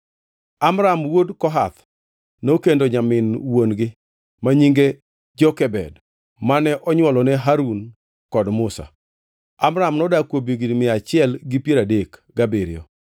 Amram wuod Kohath nokendo nyamin wuon-gi ma nyinge Jokebed, mane onywolone Harun kod Musa. (Amram nodak kuom higni mia achiel gi piero adek gabiriyo.)